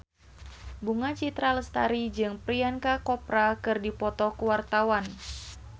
Bunga Citra Lestari jeung Priyanka Chopra keur dipoto ku wartawan